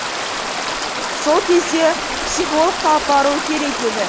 сол кезде психологқа апару керек еді